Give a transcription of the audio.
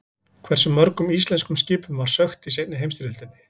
Hversu mörgum íslenskum skipum var sökkt í seinni heimsstyrjöldinni?